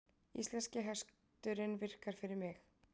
Íslenski hesturinn virkar fyrir mig